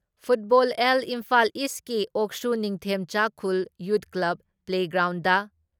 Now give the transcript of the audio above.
football ꯑꯦꯜ ꯏꯝꯐꯥꯜ ꯏꯁꯀꯤ ꯑꯣꯛꯁꯨ Ningthemchakhul youth club play ground